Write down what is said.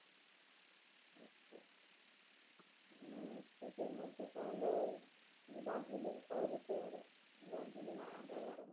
state এর মধ্যে তাহলে Darjeeling করা যেতে পারে। Darjeeling জাইগা টা খুব